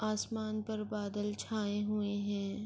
آسمان پر بادل چھے ہوئے ہے۔